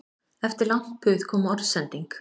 Eftir langt puð kom orðsending